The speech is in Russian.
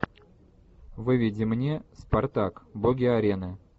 выведи мне спартак боги арены